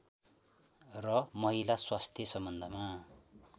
र महिला स्वास्थ्य सम्बन्धमा